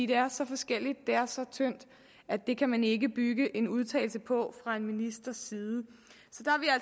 det er så forskelligt det er så tyndt at det kan man ikke bygge en udtalelse på fra en ministers side